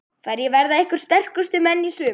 Hverjir verða ykkar sterkustu menn í sumar?